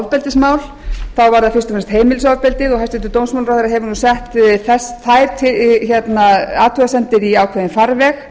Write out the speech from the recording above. ofbeldismál þá var það fyrst og fremst heimilisofbeldi hæstvirtur dómsmálaráðherra hefur nú sett þær athugasemdir í ákveðinn farveg